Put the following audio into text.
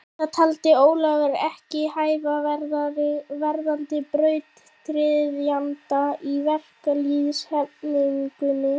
Það taldi Ólafur ekki hæfa verðandi brautryðjanda í verkalýðshreyfingunni.